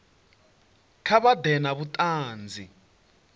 kha vha ḓe na vhuṱanzi